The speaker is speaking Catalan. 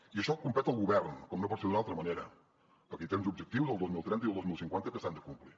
i això competeix al govern com no pot ser d’una altra manera perquè té uns objectius el dos mil trenta i el dos mil cinquanta que s’han de complir